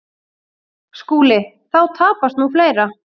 SKÚLI: Þá tapast nú fleira.